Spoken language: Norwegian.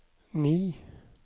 ni